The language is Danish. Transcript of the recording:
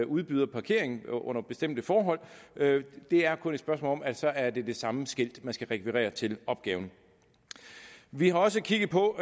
udbyder parkering under bestemte forhold det er kun et spørgsmål om at det så er det samme skilt man skal rekvirere til opgaven vi har også kigget på